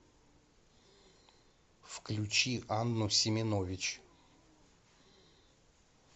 включи анну семенович